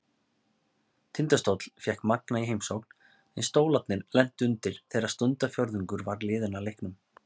Tindastóll fékk Magna í heimsókn, en Stólarnir lentu undir þegar stundarfjórðungur var liðinn af leiknum.